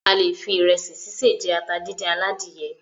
A lè fi ìrẹsì sise jẹ ata díndín aladìyẹ.